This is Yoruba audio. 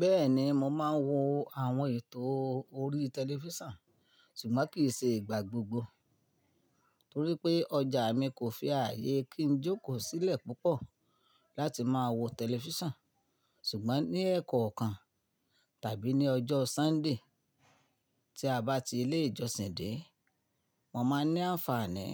Bẹ́ẹ̀ni, mo máa ń wo àwọn ètò orí tẹlifíṣàn ṣùgbọ́n kì í ṣe ìgbà gbogbo torí pé ọjà mi kò fi ààyè kí n jókòó sílẹ̀ púpọ̀ láti máa wo tẹlifíṣàn ṣùgbọ́n ní Ẹ̀kọ̀ọ́kan tàbí ní ọjọ́ Sunday tí a bá ti ilé ìjọsìn dé, mo máa ní àǹfààní